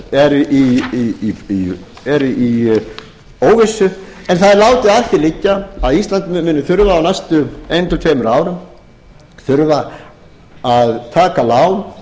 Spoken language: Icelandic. eru í óvissu en það er látið að því liggja að ísland muni þurfa á næstu einu til tveimur árum að taka lán